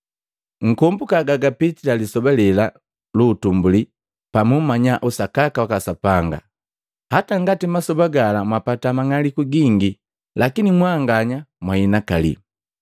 Nkombuka gagapitila lisoba lela lu utumbuli pa muumanya usakaka waka Sapanga. Hata ngati masoba gala mwapata mang'aliku gingi, lakini mwanganya mwahinakali.